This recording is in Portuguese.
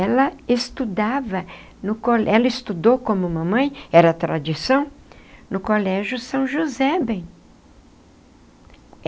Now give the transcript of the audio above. Ela estudava no colégio... ela estudou como mamãe, era tradição, no colégio São José bem.